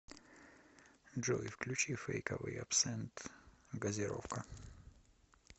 джой включи фейковый абсент газировка